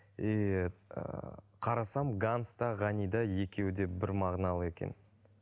и ыыы қарасам ганс та ғайни да екеуі де бір мағыналы екен